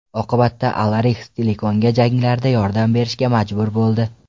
Oqibatda, Alarix Stilikonga janglarda yordam berishga majbur bo‘ldi.